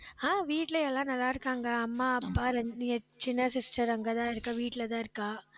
ஆஹ் வீட்ல எல்லாரும் நல்லா இருக்காங்க. அம்மா, அப்பா, ரெண்டு என் சின்ன sister அங்கதான் இருக்கா வீட்டுலதான் இருக்கா